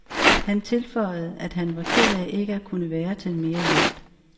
Han tilføjede, at han var ked af ikke at kunne være til mere hjælp.